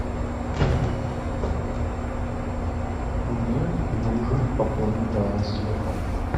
мне нужен пополнить баланс телефона